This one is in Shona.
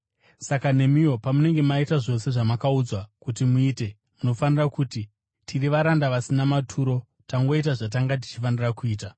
Saka nemiwo, pamunenge maita zvose zvamakaudzwa kuti muite, munofanira kuti, ‘Tiri varanda vasina maturo; tangoita zvatanga tichifanira kuita.’ ”